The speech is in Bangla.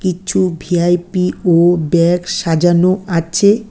কিছু ভি_আই_পি ও ব্যাগ সাজানো আছে।